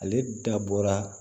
Ale dabɔra